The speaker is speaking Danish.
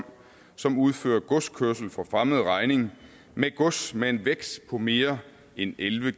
som udfører godskørsel for fremmed regning med gods med en vægt på mere end elleve